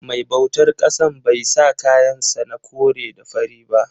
Mai bautar ƙasan bai sa kayan sa na kore da fari ba.